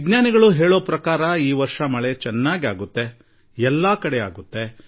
ನಾನು ನಮ್ಮ ಎಲ್ಲಾ ರೈತ ಸೋದರರಿಗೆ ಉತ್ತಮ ಮಳೆಗಾಲದ ವಿಶ್ವಾಸದೊಂದಿಗೆ ಶುಭಾಶಯಗಳನ್ನು ತಿಳಿಸುತ್ತೇನೆ